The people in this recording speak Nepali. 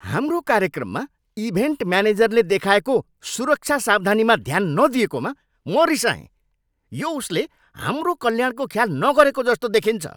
हाम्रो कार्यक्रममा इभेन्ट म्यानेजरले देखाएको सुरक्षा सावधानीमा ध्यान नदिएकोमा म रिसाएँ। यो उसले हाम्रो कल्याणको ख्याल नगरेको जस्तो देखिन्छ!